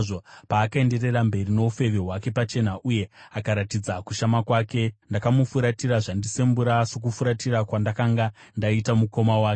Paakaenderera mberi noufeve hwake pachena uye akaratidza kushama kwake, ndakamufuratira zvandisembura, sokufuratira kwandakanga ndaita mukoma wake.